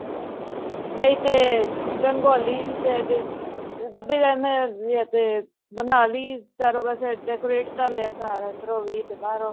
ਨਹੀਂ ਤੇ ਰੰਗੋਲੀ ਦੇ ਜਾਂ ਤੇ ਬਣਾਲੀ ਚਾਰੋ ਪਾਸੋ decorate ਕਰ ਲਿਆਂ ਘਰ ਅੰਦਰੋ ਵੀ ਤੇ ਬਾਹਰੋ ਵੀ